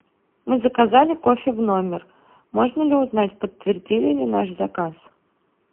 мы заказали кофе в номер можно ли узнать подтвердили ли наш заказ